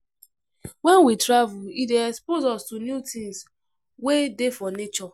When we travel, e dey expose us to new things wey dey for nature